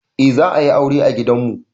Eh za a yi aure a gidan mu.